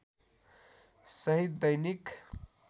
सहित दैनिक